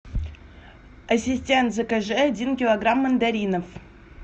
ассистент закажи один килограмм мандаринов